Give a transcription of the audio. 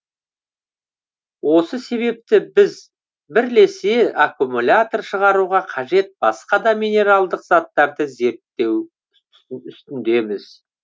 осы себепті біз бірлесе аккумулятор шығаруға қажет басқа да минералдық заттарды зерттеу үстіндеміз